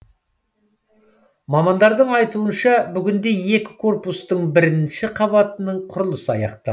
мамандардың айтуынша бүгінде екі корпустың бірінші қабатының құрылысы аяқталды